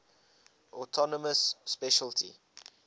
autonomous specialty